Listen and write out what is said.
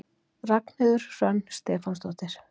Ragnheiður Hrönn Stefánsdóttir.